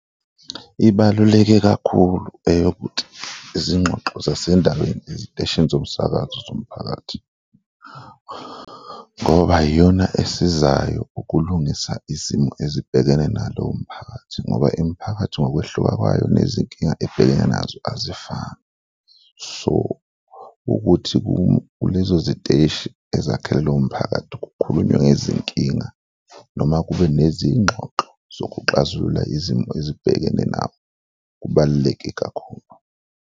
Ibaluleke kakhulu eyokuthi izingxoxo zasendaweni eziteshini zomsakazo zomphakathi ngoba iyona esizayo ukulungisa izimo ezibhekene nalowo mphakathi ngoba imiphakathi ngokwehluka kwayo nezinkinga ebhekene nazo azifani, so ukuthi kulezo ziteshi ezakhelwe lowo mphakathi kukhulunywe ngezinkinga noma kube nezingxoxo zokuxazulula izimo ezibhekene nabo kubaluleke kakhulu.